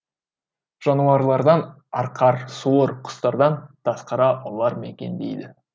жануарлардан арқар суыр құстардан тазқара ұлар мекендейді